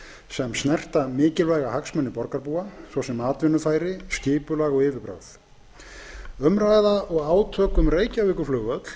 sem snerta mikilvæga hagsmuni borgarbúa svo sem atvinnufæri skipulag og yfirbragð umræða og átök um reykjavíkurflugvöll